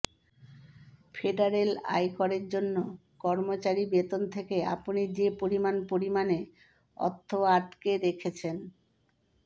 federal আয় করের জন্য কর্মচারী বেতন থেকে আপনি যে পরিমাণ পরিমাণে অর্থ আটকে রেখেছেন